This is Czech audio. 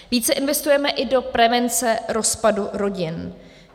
Více investujeme i do prevence rozpadu rodin.